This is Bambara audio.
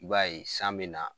I b'a ye san bɛ na